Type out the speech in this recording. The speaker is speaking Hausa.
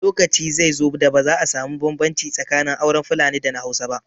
Lokaci zai zo da ba za a samu bambanci tsakanin auren Fulani da na Hausa ba